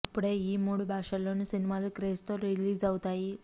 అప్పుడే ఈ మూడు భాషల్లోనూ సినిమాలు క్రేజ్ తో రిలీజ్ అవుతాయి